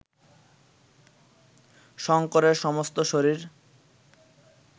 শঙ্করের সমস্ত শরীর